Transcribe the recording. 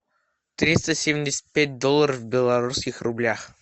триста семьдесят пять долларов в белорусских рублях